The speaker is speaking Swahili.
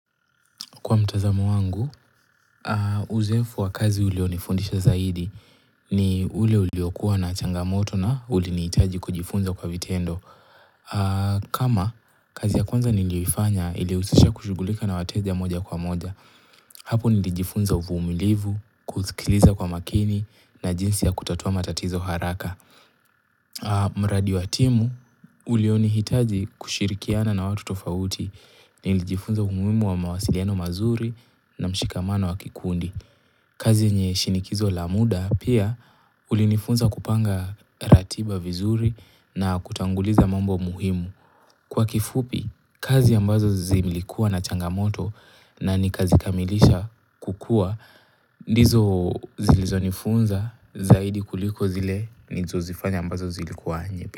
Kwa mtazamo wangu, uzoefu wa kazi ulionifundisha zaidi ni ule uliokuwa na changamoto na ulinihitaji kujifunza kwa vitendo. Kama kazi ya kwanza niliifanya ili husisha kushughulika na wateja moja kwa moja, hapo nilijifunza uvumilivu, kusikiliza kwa makini na jinsi ya kutatua matatizo haraka. Ah mradi wa timu, ulionihitaji kushirikiana na watu tofauti, nilijifunza umuhimu wa mawasiliano mazuri na mshikamano wa kikundi. Kazi yenye shinikizo la muda, pia ulinifunza kupanga ratiba vizuri na kutanguliza mambo muhimu. Kwa kifupi, kazi ambazo zilikuwa na changamoto na nikazikamilisha kukua, ndizo zilizo nifunza zaidi kuliko zile nizo zifanya ambazo zilikuwa yepe.